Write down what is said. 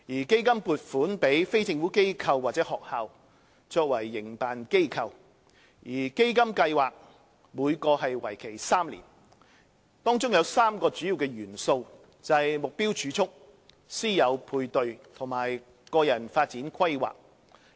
基金撥款予非政府機構或學校作為營辦機構，基金計劃每個為期3年，當中有3個主要元素，即"目標儲蓄"、"師友配對"和"個人發展規劃"。